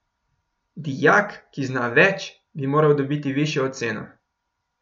Dijak, ki zna več, bi moral dobiti višjo oceno.